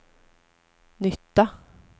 nytta